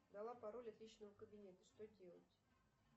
дала пароль от личного кабинета что делать